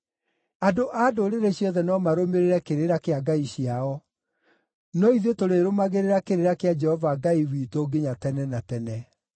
Andũ a ndũrĩrĩ ciothe no marũmĩrĩre kĩrĩra kĩa ngai ciao; no ithuĩ tũrĩrũmagĩrĩra kĩrĩra kĩa Jehova Ngai witũ nginya tene na tene.